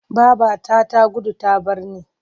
Babata ta gudu ta bar ni.